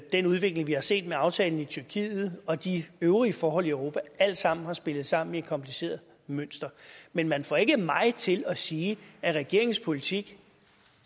den udvikling vi har set med aftalen med tyrkiet og de øvrige forhold i europa alt sammen har spillet sammen i et kompliceret mønster men man får ikke mig til at sige at regeringens politik